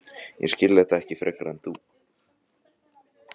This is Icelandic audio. Ég skil þetta ekki frekar en þú.